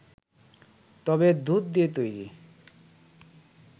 তবে দুধ দিয়ে তৈরি